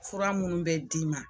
Fura minnu bɛ d'i ma